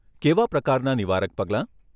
કેવા પ્રકારના નિવારક પગલાં?